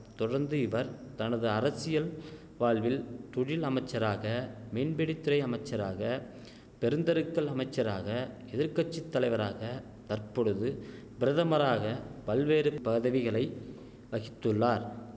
தொடர்ந்து இவர் தனது அரசியல் வாழ்வில் தொழில் அமைச்சராக மீன்பிடிதுறை அமைச்சராக பெருந்தெருக்கள் அமைச்சராக எதிர் கட்சி தலைவராக தற்பொழுது பிரதமராக பல்வேறு பதவிகளை வகித்துள்ளார்